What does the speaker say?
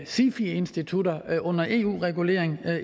sifi institutter under eu regulering